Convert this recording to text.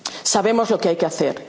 el Consejo. Sabemos lo que hay